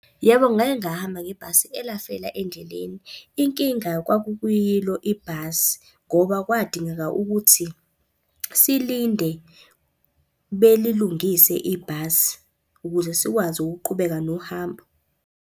Yebo, ngake ngahamba ngebhasi elafela endleleni. Inkinga kwakukuyilo ibhasi ngoba kwadingeka ukuthi silinde belilungise ibhasi ukuze sikwazi ukuqhubeka nohambo.